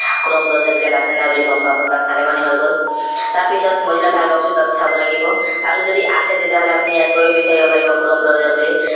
chrome browser বিলাক আছে নে নাই বুলি গম পাব তাত চালে মানে হৈ গল তাৰ পিছত mozilla firefox টো তাতে চাব লাগিব আৰু যদি আছে আপুনি ইয়াত গৈয়ো বিছাৰিব পাৰিব chrome browser বুলি